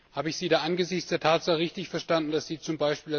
Habe ich Sie angesichts der Tatsache richtig verstanden, dass Sie z.